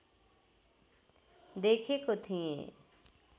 देखेको थिएँ